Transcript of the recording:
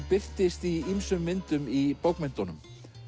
birtist í ýmsum myndum í bókmenntunum